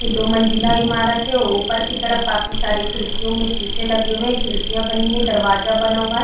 यह दो मंजिला इमारत है ऊपर की तरफ काफी सारी खिडकियों में शीशे लगे हुए है खिड़किया बनी हुई है दरवाजा बना हुआ है।